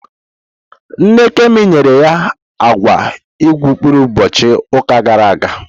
Nne Kemi nyere ya agwa igurube ụbọchị ụka gara aga.